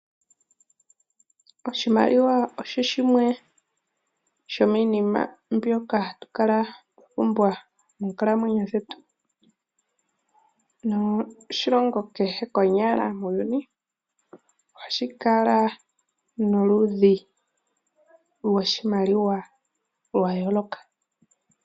Oshimaliwa osho shimwe sho miinima mbyoka hatu kala twa pumbwa mokukalamwenyo kwetu, noshilongo kehe konyala muuyuni ohashi kala noludhi lwoshimaliwa lwa yooloka.